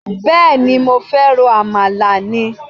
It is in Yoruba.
Bẹ́ẹ̀ni, mo fẹ́ ro àmàlà ni?